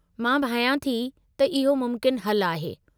मां भायां थी त इहो मुमकिन हलु आहे।